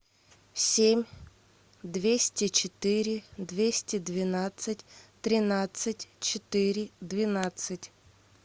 семь двести четыре двести двенадцать тринадцать четыре двенадцать